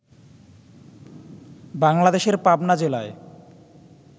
বাংলাদেশের পাবনা জেলায়